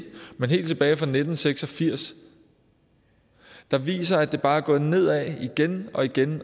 men helt tilbage fra nitten seks og firs der viser at det bare er gået nedad igen og igen